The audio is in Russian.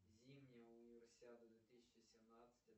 зимняя универсиада две тысячи семнадцать